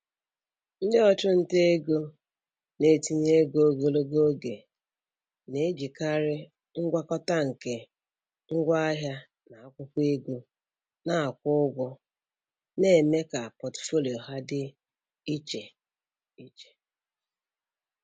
Ndị ọchụnta ego na-etinye ego ogologo oge na-ejikarị ngwakọta nke ngwaahịa na akwụkwọ ego na-akwụ ụgwọ na-eme ka pọtụfoliyo ha dị iche iche.